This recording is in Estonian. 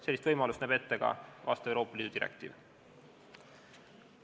Sellist võimalust näeb ette ka Euroopa Liidu direktiiv.